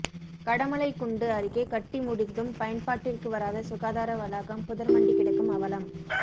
கடமலைக்குண்டு அருகே கட்டி முடிந்தும் பயன்பாட்டிற்கு வராத சுகாதார வளாகம் புதர்மண்டிக் கிடக்கும் அவலம்